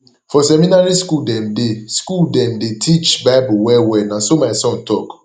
for seminary skool dem dey skool dem dey teach bible wellwell na so my son tok